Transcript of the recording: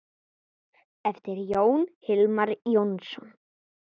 eftir Jón Hilmar Jónsson